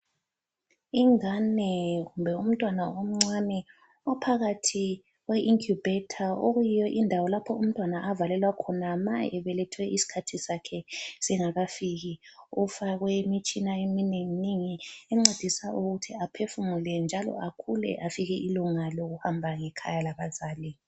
Ingane kumbe umntwana omncane uphakathi kwe inkhubhetha okuyiyo indawo lapho umntwana avalelwa ma ebelethwe isikhathi sakhe singakafiki ufakwe imitshina eminenginengi encedisa ukuthi aphefumule njalo akhule afike ilunga lokuhamba ngekhaya labazali.